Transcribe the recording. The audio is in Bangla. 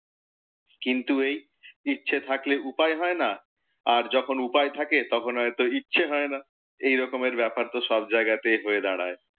কিন্তু এই ইচ্ছে থাকলে উপায় হয় না, আর যখন উপায় থাকে তখন হয়ত ইচ্ছে হয় না। এইরকমের ব্যাপার তো সব জায়াগাতেই হয়ে দাঁড়ায়।